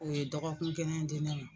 U ye dɔgɔkun kelen di ne ma.